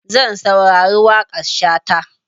Zan saurari waƙar Shata.